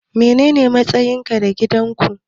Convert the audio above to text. Menene matsayinsa a gidan ku?